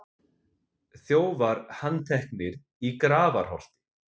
Þjófar handteknir í Grafarholti